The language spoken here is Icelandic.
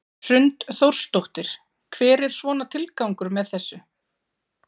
Hrund Þórsdóttir: Hver er svona tilgangur með þessu?